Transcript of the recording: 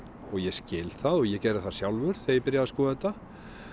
og ég skil það ég gerði það sjálfur þegar ég byrjaði að skoða þetta